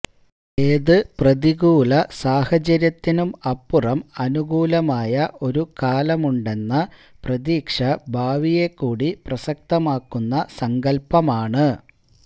ഏത് പ്രതികൂലസാഹചര്യത്തിനും അപ്പുറം അനുകൂലമായ ഒരു കാലമുണ്ടെന്ന പ്രതീക്ഷ ഭാവിയെക്കൂടി പ്രസക്തമാക്കുന്ന സങ്കല്പ്പമാണ്